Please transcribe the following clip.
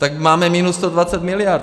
Tak máme minus 120 mld.